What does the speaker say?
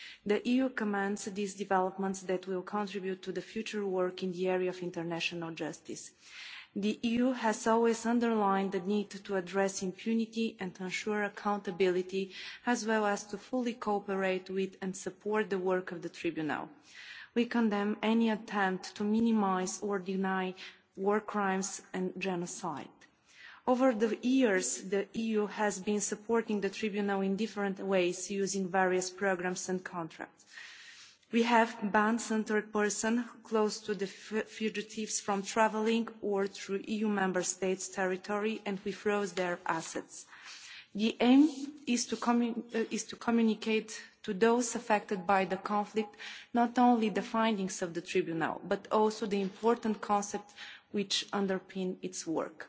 The EU commends these developments that will contribute to future work in the area of international justice. The EU has always underlined the need to address impunity and ensure accountability, as well as to fully cooperate with and support the work of the Tribunal. We condemn any attempt to minimise or deny war crimes and genocide. Over the years, the EU has been supporting the Tribunal in different ways, using various programmes and contracts. We have banned certain persons close to the fugitives from travelling to or through EU Member States' territory, and we froze their assets. The aim is to communicate to those affected by the conflict not only the findings of the Tribunal but also the important concepts which underpin its